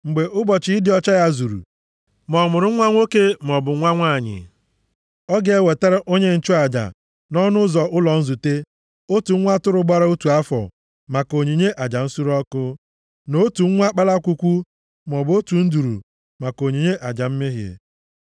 “ ‘Mgbe ụbọchị ịdị ọcha ya zuru, ma ọ mụrụ nwa nwoke maọbụ nwa nwanyị, ọ ga-ewetara onye nchụaja nʼọnụ ụzọ ụlọ nzute otu nwa atụrụ gbara otu afọ maka onyinye aja nsure ọkụ, na otu nwa kpalakwukwu maọbụ otu nduru maka onyinye aja mmehie.